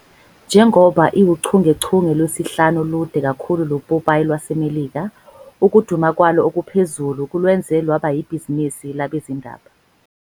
Njengoba iwuchungechunge lwesihlanu olude kakhulu lopopayi lwaseMelika, ukuduma kwalo okuphezulu kulwenze lwaba yibhizinisi labezindaba.